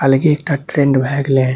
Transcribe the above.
अलगे एकटा ट्रेंड भे गएले --